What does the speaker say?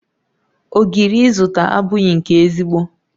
Ogiri izụta abụghi nke ezigbo